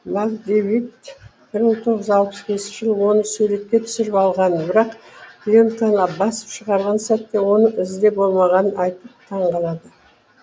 макдивитть бір мың тоғыз жүз алпыс бесінші жылы оны суретке түсіріп алғанын бірақ пленканы басып шығарған сәтте оның ізі де болмағанын айтып таң қалады